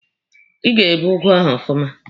Ị ga-ebe ụgụ ahụ ọfụma!